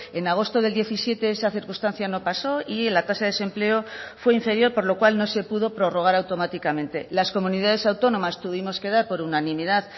en agosto del diecisiete esa circunstancia no pasó y la tasa de desempleo fue inferior por lo cual no se pudo prorrogar automáticamente las comunidades autónomas tuvimos que dar por unanimidad